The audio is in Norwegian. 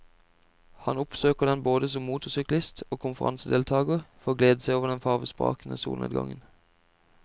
Han oppsøker den både som motorsyklist og konferansedeltager for å glede seg over den farvesprakende solnedgangen.